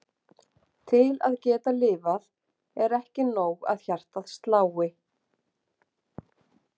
Til að geta lifað er ekki nóg að hjartað slái.